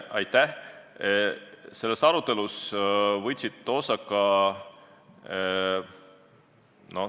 Aitäh!